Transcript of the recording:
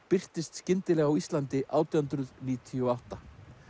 birtist skyndilega á Íslandi átján hundruð níutíu og átta